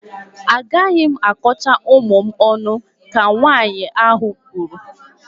Agaghị m akọcha ụmụ m ọnụ, ka nwaanyị ahụ kwuru